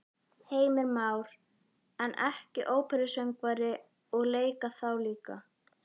Heimir Már: En ekki óperusöngvari og leika þá líka?